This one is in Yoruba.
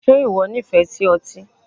Ṣe ìwọ nífẹ̀ẹ́ sí otí?